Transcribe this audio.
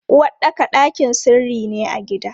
Uwaɗɗaka ɗakin sirri ne a gida.